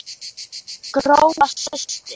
Gróa systir.